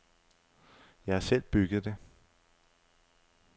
Jeg har selv bygget det.